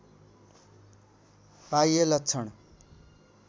बाह्य लक्षण